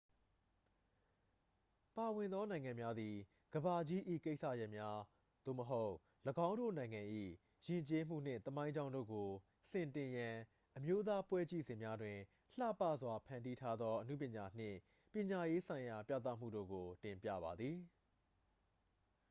ပါဝင်သောနိုင်ငံများသည် ကမ္ဘာကြီး၏ကိစ္စရပ်များ သို့မဟုတ် ၎င်းတို့နိုင်ငံ၏ ယဉ်ကျေးမှုနှင့် သမိုင်းကြောင်းတို့ကို စင်တင်ရန် အမျိုးသားပွဲကြည့်စင်များတွင် လှပစွာဖန်တီးထားသောအနုပညာနှင့် ပညာရေးဆိုင်ရာပြသမှုတို့က်ု တင်ပြပါသည်